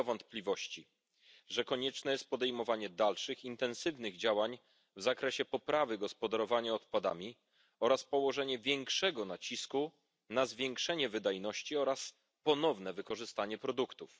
Nie ulega wątpliwości, że konieczne jest podejmowanie dalszych intensywnych działań w zakresie poprawy gospodarowania odpadami oraz położenie większego nacisku na podniesienie wydajności oraz ponowne użycie produktów.